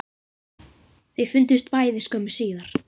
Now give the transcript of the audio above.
Þau fundust bæði skömmu síðar